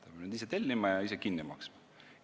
Ta peab need ise tellima ja ise kinni maksma.